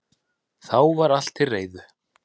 Þá var allt til reiðu